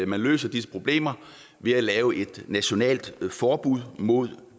man løser disse problemer ved at lave et nationalt forbud mod